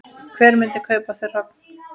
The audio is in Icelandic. Hver myndi kaupa þau hrogn?